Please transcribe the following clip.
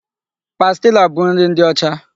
Pastila bụ nri ndị ọcha.